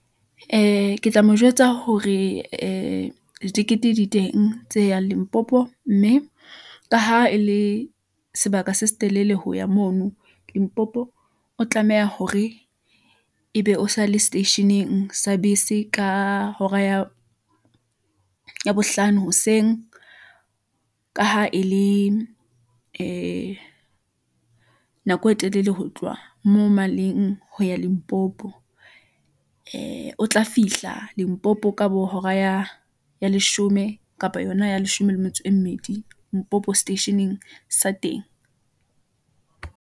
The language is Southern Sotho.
Ee, ketla mo jwetsa hore ee tekete di teng, tse yang Limpopo, mme ka ha e le sebaka se setelele ho ya mono limpopo , o tlameha hore ebe o sa le seteisheneng sa bese, ka hora ya bohlano hoseng , ka ha e le ee nako e telele Ho tloha moo maleng ho ya Limpopo , ee o tla fihla limpopo ka bo hora leshome, kapa yona ya leshome le metso e mmedi , mpopo seteisheneng sa teng.